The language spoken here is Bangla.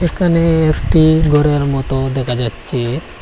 এখানে একটি ঘরের মতো দেখা যাচ্ছে।